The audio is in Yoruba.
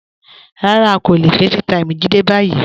Rárá, a kò le fẹ̀ẹ́taímì Jídé bayí.